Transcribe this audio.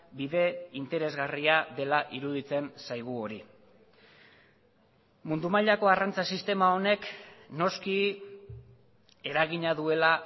bide interesgarria dela iruditzen zaigu hori mundu mailako arrantza sistema honek noski eragina duela